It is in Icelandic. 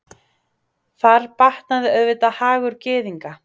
Þar batnaði auðvitað hagur Gyðinga.